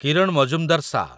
କିରଣ Mazumdar ଶା